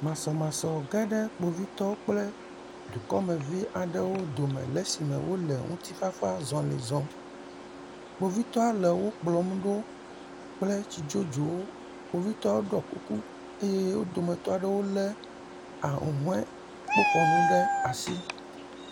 Masɔmasɔ ge ɖe Kpovitɔwo kple dukɔmeviwo dome le esime wole ŋutifafazɔli zɔm. Kpovitɔa le wokplɔm ɖo kple tsidzodzowo. Kpovitɔa ɖɔɔ kuku eye wo dometɔ aɖewo lé ahũhɔekpoxɔnu ɖe asi.